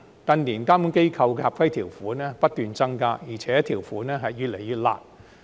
近年監管機構的合規條款不斷增加，而且條款越來越"辣"。